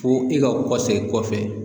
Fo i ka kɔsegi kɔfɛ